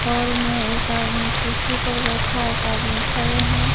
Hall में एक आदमी कुर्सी पर बैठा है एक आदमी खड़े हैं।